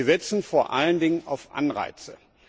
Wir setzen vor allen Dingen auf Anreize.